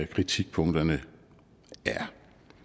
kritikpunkterne er